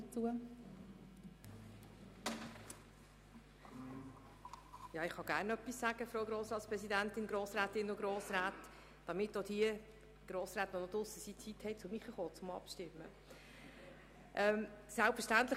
Ich kann gerne etwas dazu sagen, damit auch diejenigen Grossräte und Grossrätinnen Zeit haben, vor der Abstimmung zurückzukehren, die gerade draussen sind.